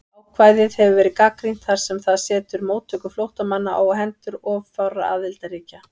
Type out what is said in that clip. Ákvæðið hefur verið gagnrýnt þar sem það setur móttöku flóttamanna á hendur of fárra aðildarríkja.